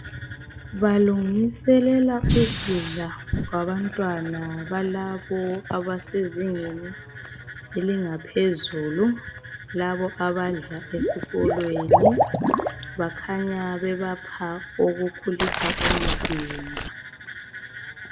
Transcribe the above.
Balungiselela ukudla kwabantwana balabo abasezingeni elingaphezulu, labo abadla esikolweni bakhanya bebapha okukhulisa umzimba .